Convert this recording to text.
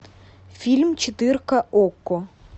фильм четырка окко